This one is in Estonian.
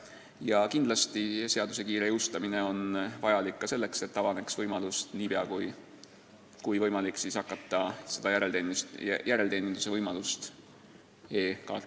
Ja kindlasti on seaduse kiire jõustamine vajalik ka selleks, et saaks niipea kui võimalik hakata seda e-kaartide järelteeninduse võimalust pakkuma.